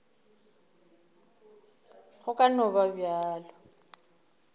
go ka no ba bjalo